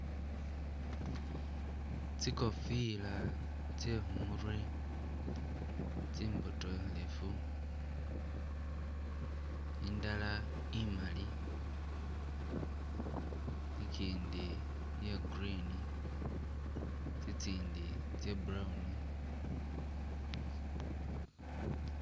Tsikhofila tsye khumurwe tsimbotokhelefu, indala imali, ikindi iya green, tsitsindi tsa brown.